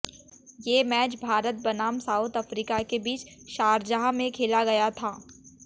ये मैच भारत बनाम South Africa के बीच शारजाह में खेला गया था